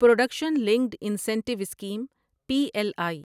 production linked incentive scheme P L I